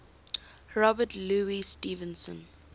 robert louis stevenson